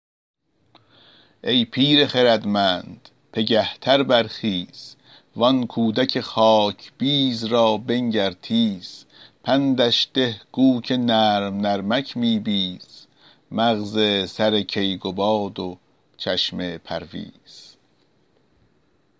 ای پیر خردمند پگه تر برخیز وآن کودک خاکبیز را بنگر تیز پندش ده گو که نرم نرمک می بیز مغز سر کیقباد و چشم پرویز